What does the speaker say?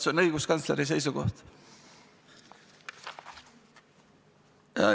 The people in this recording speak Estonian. See on õiguskantsleri seisukoht.